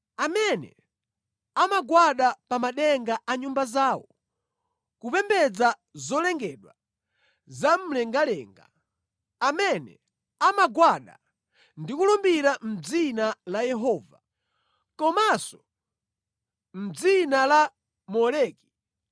amene amagwada pa madenga a nyumba zawo kupembedza zolengedwa zamumlengalenga, amene amagwada ndi kulumbira mʼdzina la Yehova, komanso mʼdzina la Moleki,